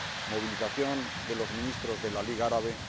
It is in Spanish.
movilización de los Ministros de la Liga Árabe